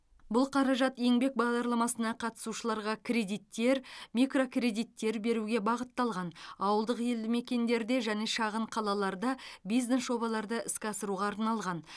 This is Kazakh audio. бұл қаражат еңбек бағдарламасына қатысушыларға кредиттер микрокредиттер беруге бағытталған ауылдық елді мекендерде және шағын қалаларда бизнес жобаларды іске асыруға арналған